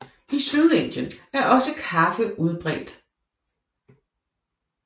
I Sydindien er også kaffe udbredt